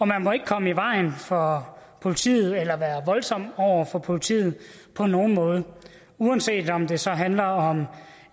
man må ikke komme i vejen for politiet eller være voldsom over for politiet på nogen måde uanset om det så handler om